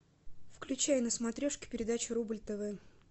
включай на смотрешке передачу рубль тв